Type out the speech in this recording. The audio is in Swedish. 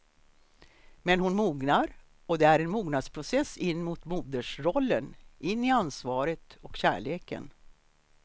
Men hon mognar och det är en mognadsprocess in mot modersrollen, in i ansvaret och kärleken.